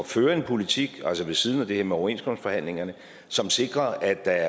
føre en politik altså ved siden af det her med overenskomstforhandlingerne som sikrer at der